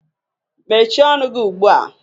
Mechie ọnụ gị ugbua!